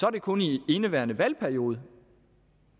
er det kun i indeværende valgperiode